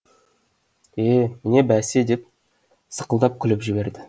е міне бәсе деп сақылдап күліп жіберді